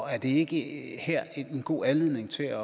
her ikke en god anledning til at